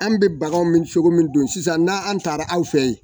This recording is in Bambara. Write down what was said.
An bɛ bagan min cogo min don sisan n' an taara aw fɛ yen.